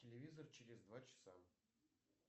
телевизор через два часа